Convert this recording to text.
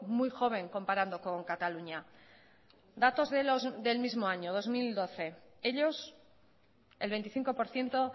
muy joven comparando con cataluña datos del mismo año dos mil doce ellos el veinticinco por ciento